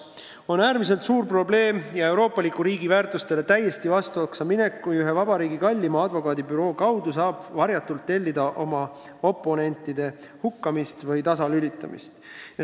On äärmiselt suur probleem ja euroopaliku riigi väärtustega täiesti vastamisi minek, kui ühe meie riigi kalleima advokaadibüroo kaudu saab varjatult tellida oma oponentide hukkamist või tasalülitamist.